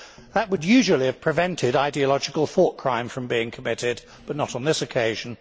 That would usually have prevented ideological thoughtcrime from being committed, but not on this occasion.